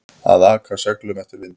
Að aka seglum eftir vindi